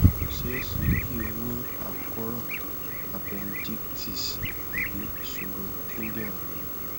kò ṣeé ṣe kí o ní àkóràn appendicitis tàbí ìṣòro kidinrin